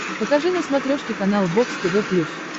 покажи на смотрешке канал бокс тв плюс